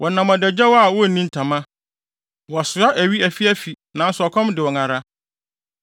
Wɔnenam adagyaw a wonni ntama; wɔsoa awi afiafi, nanso ɔkɔm de wɔn ara.